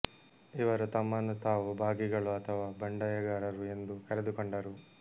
ಇವರು ತಮ್ಮನ್ನು ತಾವು ಬಾಘಿಗಳು ಅಥವಾ ಬಂಡಾಯಗಾರರು ಎಂದು ಕರೆದುಕೊಂಡರು